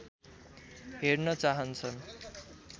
हेर्न चाहन्छन्